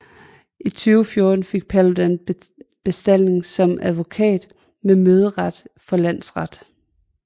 I 2014 fik Paludan bestalling som advokat med møderet for landsret